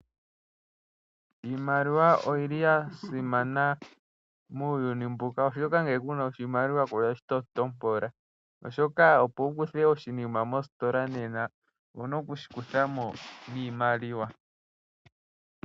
Iimaliwa oyi li ya simana muuyuni mbuka oshoka ngele ku na oshimaliwa ku nashi tontopola oshoka opo wu kuthe oshinima mositola nena owu na okushikuthamo niimaliwa.